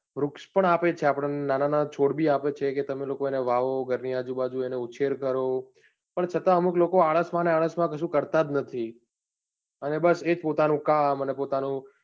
વૃક્ષ પણ આપે છે. આપડને નાના નાના છોડ બી આપે છે, તમે લોકો એને વહાવો ઘર ની આજુબાજુ એને ઉચ્છેર કરો છતાં અમુક લોકો આળસ માં ન આળસ માં ક્સુ કરતા નથી. અને બસ એજ પોતાનું કામ અને પોતાનું,